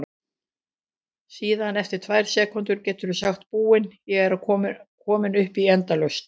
Síðan eftir tvær sekúndur geturðu sagt Búin, ég er komin upp í endalaust!